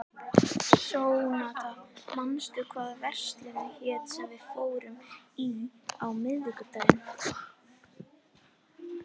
Sónata, manstu hvað verslunin hét sem við fórum í á miðvikudaginn?